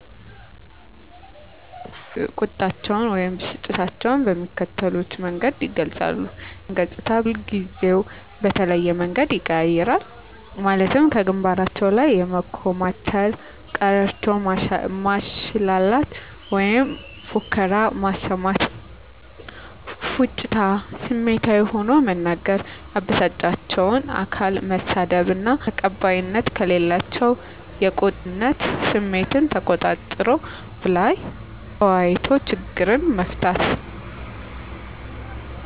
በእኛ አካባቢ ያሉ ሰዎች ቁጣቸውን ወይም ብስጭታቸውን በሚከተሉት መንገድ ይገልጻሉ:- የፊታቸው ገፅታ ከሁልጊዜው በተለየ መንገድ ይቀያየራል ማለትም ከግንባራቸው ላይ የመኮማተር፤ ቀረርቶ ማሽላላት ወይም ፉከራ ማሰማት፤ ፉጭታ፤ ስሜታዊ ሆኖ መናገር፤ ያበሳጫቸውን አካል መሳደብ እና መግደል፤ እራስን ማጥፋት። ተቀባይነት ከሌላቸው የቁጣ አይነቶች የሚከተሉት ይገኙበታል -ስድብ፤ ሰውን በአጠፋው መጉዳት ውይም መግደል፤ እራስን ማጥፋት። ተቀባይነት ያላቸው የቁጣ አይነት ስሜትን ተቆጣጥሮ በሀሳቡ ላይ ተወያይቶ ችግርን መፍታት።